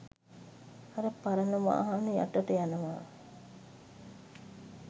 අර පරණ වාහන යටට යනවා